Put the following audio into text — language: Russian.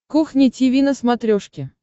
кухня тиви на смотрешке